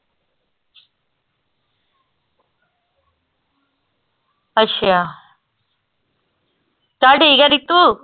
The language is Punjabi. ਅਸ਼ਾ ਚੱਲ ਠੀਕ ਆ ਟਿੱਕੂ